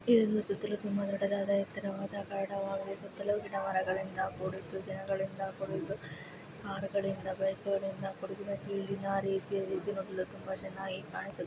ಇದೊಂದು ಸುತ್ತಲೂ ತುಂಬಾ ದೊಡ್ಡದಾದ ಎತ್ತರವಾದ ಗಾಢವಾಗಿ ಸುತ್ತಲೂ ಗಿಡ ಮರಗಳಿಂದ ಕೂಡಿರುತ್ತದೆ ಇದು ಜನಗಳಿಂದ ಕೂಡಿದ್ದು ಕಾರು ಗಳಿಂದ ಬೈಕು ಗಳಿಂದ ಕೂಡಿದೆ ಇದು ತುಂಬಾ ಚೆನ್ನಾಗಿ ಕಾಣಿಸುತ್ತಿದೆ